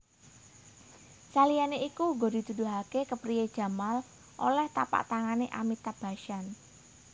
Saliyané iku uga dituduhaké kepriyé Jamal olèh tapaktangané Amitabh Bachchan